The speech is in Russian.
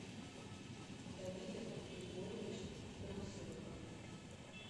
давидом григорьевичем трусовым